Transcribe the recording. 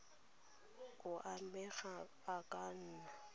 o amegang a ka nna